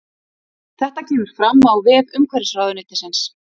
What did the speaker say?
Þetta kemur fram á vef umhverfisráðuneytisins